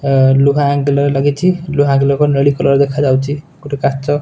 ଲୁହା ଆଙ୍ଗଲୟେ ଲାଗିଚି ଲୁହା ଆଙ୍ଗଲୟେ ନେଳି କଲର ଦେଖା ଯାଉଚି ଗୋଟେ କାଚ --